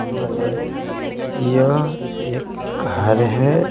यह एक घर है।